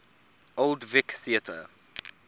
old vic theatre